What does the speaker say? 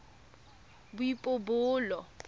boipobolo